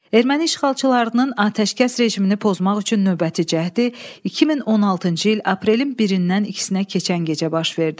Erməni işğalçılarının atəşkəs rejimini pozmaq üçün növbəti cəhdi 2016-cı il aprelin birindən ikisinə keçən gecə baş verdi.